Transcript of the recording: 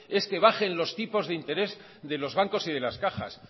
es que baje los tipos de interés de los bancos y de las cajas